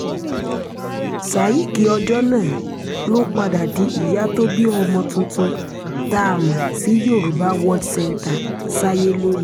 ccayic ọjọ́ náà ló padà di ìyá tó bí ọmọ tuntun tá a mọ̀ sí yorùbá world centre sáyé lónìí